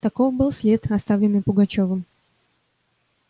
таков был след оставленный пугачёвым